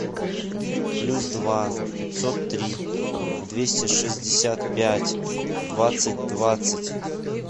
плюс два пятьсот три двести шестьдесят пять двадцать двадцать